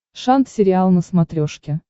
шант сериал на смотрешке